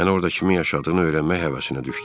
Mən orda kimin yaşadığını öyrənmək həvəsinə düşdüm.